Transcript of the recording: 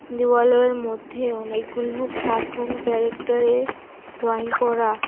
দেওয়ালের মধ্যে অনেকগুলো কাটুন ক্যারেক্টারের ড্রইং করা।